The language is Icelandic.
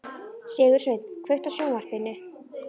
Sigursveinn, kveiktu á sjónvarpinu.